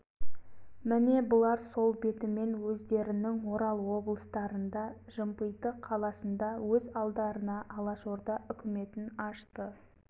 міне бұлар сол бетімен өздерінің орал облыстарында жымпиты қаласында өз алдарына алашорда үкіметін ашты